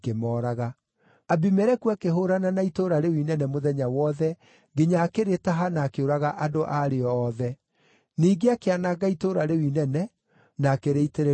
Abimeleku akĩhũũrana na itũũra rĩu inene mũthenya wothe nginya akĩrĩtaha na akĩũraga andũ a rĩo othe. Ningĩ akĩananga itũũra rĩu inene, na akĩrĩitĩrĩria cumbĩ.